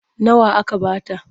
Nawa aka ba ta?